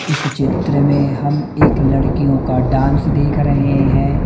इस चित्र में हम एक लड़कियो का डांस देख रहे है।